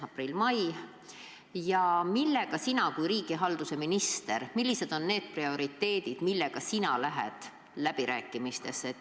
Milliste prioriteetidega sina kui riigihalduse minister läbirääkimistele lähed?